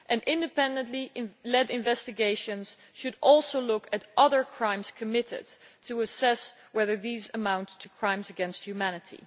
Independently led investigations should also look at other crimes committed to assess whether these amount to crimes against humanity.